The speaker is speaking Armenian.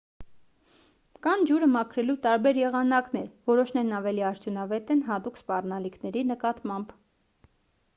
կան ջուրը մաքրելու տարբեր եղանակներ որոշներն ավելի արդյունավետ են հատուկ սպառնալիքների նկատմամբ